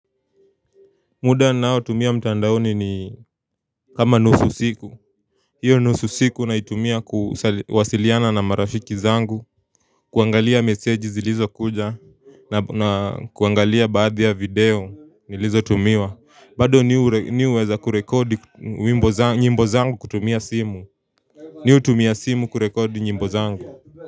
Muda ninaotumia mtandaoni ni kama nusu siku Iyo nusu siku naitumia kuwasiliana na marafiki zangu kuangalia message zilizokuja na kuangalia baadhi ya video nilizotumiwa. Bado mi huweza kurekodi nyimbo zangu kutumia simu Mi hutumia simu kurekodi nyimbo zangu.